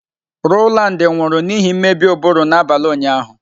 Rowland nwụrụ n'ihi mmebi ụbụrụ n'abalị ụnyaahụ.